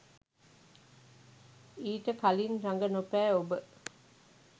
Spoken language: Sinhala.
ඊට කලින් රඟනොපෑ ඔබ